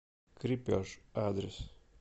крепеж адрес